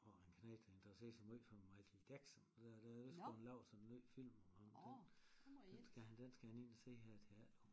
Har en knægt der interesserer sig møj for Michael Jackson og der der skulle være lavet sådan en ny film om ham den skal han den skal han ind og se her i teatret